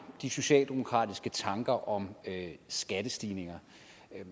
de socialdemokratiske tanker om skattestigninger